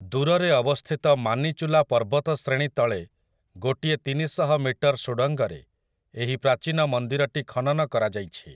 ଦୂରରେ ଅବସ୍ଥିତ ମାନିଚୂଲା ପର୍ବତଶ୍ରେଣୀ ତଳେ ଗୋଟିଏ ତିନିଶହ ମିଟର ସୁଡ଼ଙ୍ଗରେ ଏହି ପ୍ରାଚୀନ ମନ୍ଦିରଟି ଖନନ କରାଯାଇଛି ।